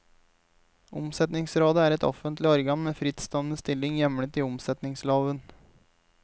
Omsetningsrådet er et offentlig organ med en frittstående stilling hjemlet i omsetningsloven.